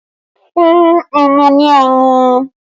Fún ọmọ ní ọmú!